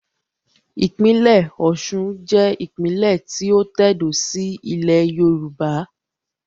Ìpínlẹ̀ Osun jẹ́ ìpínlè tí ó tẹ̀dó síí ilẹ̀ Yorùbá